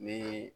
Ni